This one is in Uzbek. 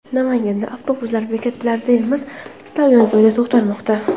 Namanganda avtobuslar bekatlarda emas, istalgan joyda to‘xtamoqda .